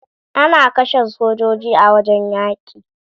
Ana kashe sojoji a wajen yaƙi